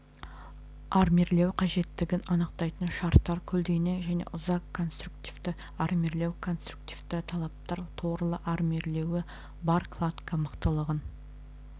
армирлеу қажеттігін анықтайтын шарттар көлденең және ұзақ конструктивті армирлеу конструктивті талаптар торлы армирлеуі бар кладка мықтылығын